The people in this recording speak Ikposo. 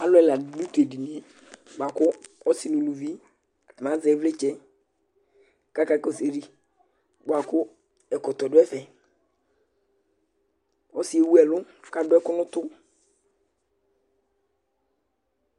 alu Ɛla di du tu edinie bʋa ku ɔsi nu uluvi, ata ni azɛ iɣlitsɛ kaka kɔsu ayili bʋa ku ɛkɔtɔ du ɛfɛ , ɔsiɛ ewu ɛlu ku adu ɛku nu utu,